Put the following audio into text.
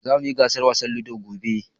Zamu yi gasar wasan Ludo gobe.